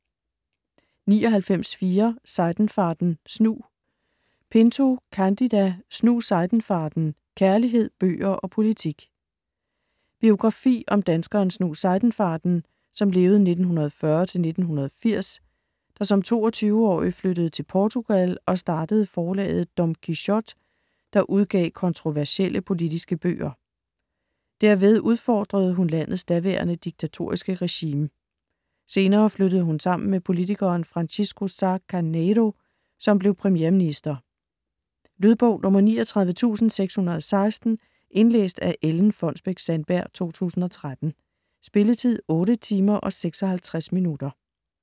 99.4 Seidenfaden, Snu Pinto, Cândida: Snu Seidenfaden: kærlighed, bøger og politik Biografi om danskeren Snu Seidenfaden (1940-1980) der som 22-årig flyttede til Portugal og startede forlaget Dom Quixote, der udgav kontroversielle politiske bøger. Derved udfordrede hun landets daværende diktatoriske regime. Senere flyttede hun sammen med politikeren Francisco Sá Caneiro, som blev premierminister. Lydbog 39616 Indlæst af Ellen Fonnesbech-Sandberg, 2013. Spilletid: 8 timer, 56 minutter.